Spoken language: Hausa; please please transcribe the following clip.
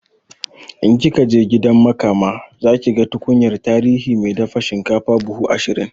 In kikaje gidan makama zakiga tukunyar tarihi mai dafa shinkafa buhu ashirin